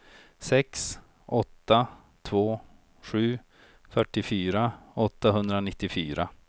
sex åtta två sju fyrtiofyra åttahundranittiofyra